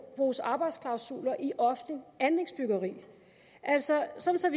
bruges arbejdsklausuler i offentligt anlægsbyggeri altså sådan